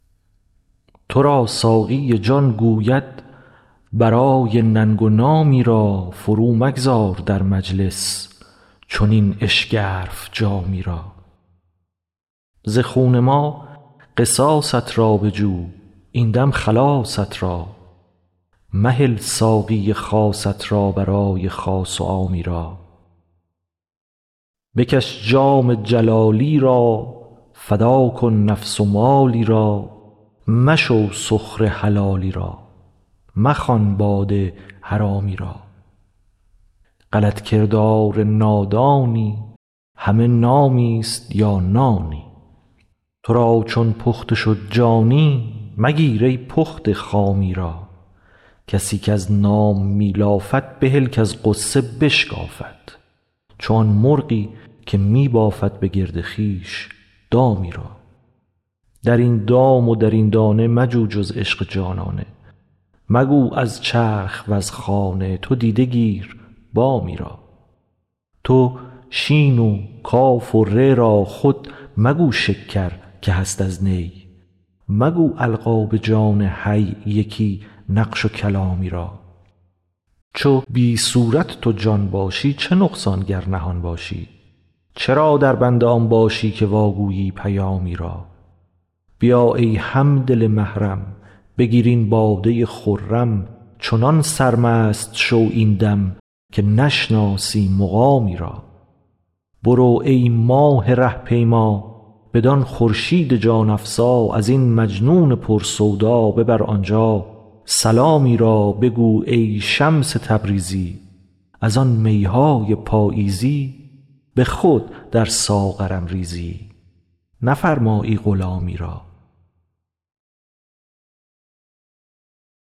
تو را ساقی جان گوید برای ننگ و نامی را فرومگذار در مجلس چنین اشگرف جامی را ز خون ما قصاصت را بجو این دم خلاصت را مهل ساقی خاصت را برای خاص و عامی را بکش جام جلالی را فدا کن نفس و مالی را مشو سخره حلالی را مخوان باده حرامی را غلط کردار نادانی همه نامیست یا نانی تو را چون پخته شد جانی مگیر ای پخته خامی را کسی کز نام می لافد بهل کز غصه بشکافد چو آن مرغی که می بافد به گرد خویش دامی را در این دام و در این دانه مجو جز عشق جانانه مگو از چرخ وز خانه تو دیده گیر بامی را تو شین و کاف و ری را خود مگو شکر که هست از نی مگو القاب جان حی یکی نقش و کلامی را چو بی صورت تو جان باشی چه نقصان گر نهان باشی چرا دربند آن باشی که واگویی پیامی را بیا ای هم دل محرم بگیر این باده خرم چنان سرمست شو این دم که نشناسی مقامی را برو ای راه ره پیما بدان خورشید جان افزا از این مجنون پر سودا ببر آنجا سلامی را بگو ای شمس تبریزی از آن می های پاییزی به خود در ساغرم ریزی نفرمایی غلامی را